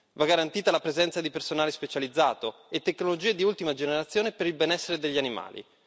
Va garantita la presenza di personale specializzato e tecnologie di ultima generazione per il benessere degli animali.